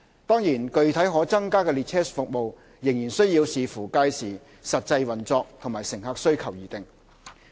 當然，具體可增加的列車服務，仍須視乎屆時實際運作及乘客需求而定。